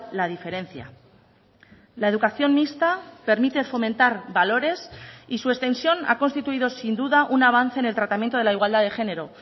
la diferencia la educación mixta permite fomentar valores y su extensión ha constituido sin duda un avance en el tratamiento de la igualdad de género